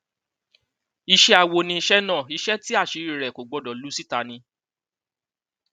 iṣẹ awo ni iṣẹ náà iṣẹ tí àṣírí rẹ kò gbọdọ lu síta ni